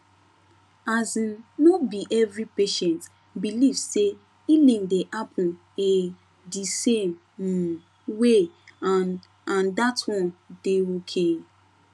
asin no be every patient believe say healing dey happen ehh di same um way and and that one dey okay